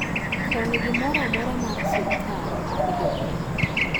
Koni gimora amora mar sirikal mag jopiny